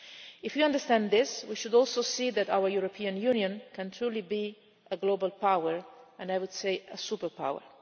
If you understand this, we should also see that our European Union can truly be a global power and, I would say, a superpower.